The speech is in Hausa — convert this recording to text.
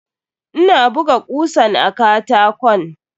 Ina buga kusan a katakon.